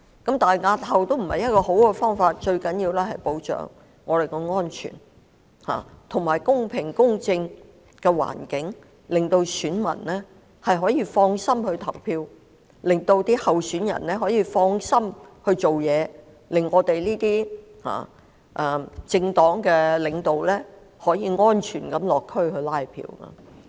可是，押後選舉並非理想做法，最重要的是保障我們的安全，以及提供公平和公正的環境，令選民可以安心投票，令候選人可以安心進行選舉工程，令政黨的領導層可以安全地落區"拉票"。